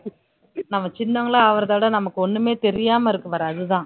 நம்ம சின்னவங்களும் ஆகுறதை விட நமக்கு ஒண்ணுமே தெரியாம இருக்கு பாரு அதுதான்